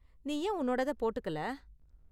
நீ ஏன் உன்னோடத போட்டுக்கல?